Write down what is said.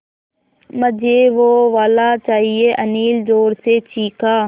मझे वो वाला चाहिए अनिल ज़ोर से चीख़ा